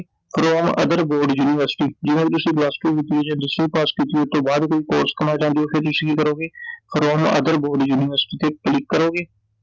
from other board university Iਕਈ ਵਾਰ ਤੁਸੀਂ plus two ਕੀਤੀ ਐ ਜਾਂ ਦਸਵੀਂ ਪਾਸ ਕੀਤੀ ਐ, ਓਹਤੋਂ ਬਾਅਦ ਕੋਈ ਕੋਰਸ ਕਰਨਾ ਚਾਹੁੰਦੇ ਓ, ਫੇਰ ਤੁਸੀਂ ਕੀ ਕਰੋਗੇ from other ਬੋਰਡ ਯੂਨੀਵਰਸਿਟੀ ਤੇ click ਕਰੋਗੇ